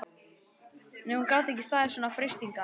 Nei, hún gat ekki staðist svona freistingar.